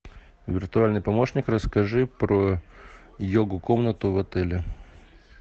виртуальный помощник расскажи про йогу комнату в отеле